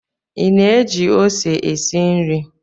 Ị na-eji ose esi nri